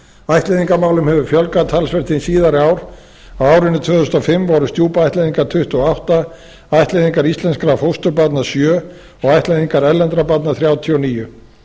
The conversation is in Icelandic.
ættleiðingarmálum hefur fjölgað talsvert hin síðari ár á árinu tvö þúsund og fimm voru stjúpættleiðingar tuttugu og átta ættleiðingar íslenskra fósturbarna sjö og ættleiðingar erlendra barna þrjátíu og níu